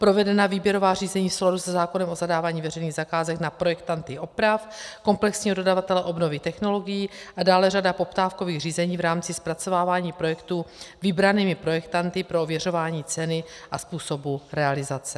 Provedena výběrová řízení v souladu se zákonem o zadávání veřejných zakázek na projektanty oprav, komplexního dodavatele obnovy technologií a dále řada poptávkových řízení v rámci zpracovávání projektů vybranými projektanty pro ověřování ceny a způsobu realizace.